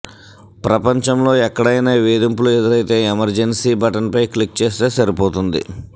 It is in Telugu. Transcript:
ప్రపంచంలో ఎక్కడైనా వేధింపులు ఎదురైతే ఎమర్జెన్సీ బటన్పై క్లిక్ చేస్తే సరిపోతుంది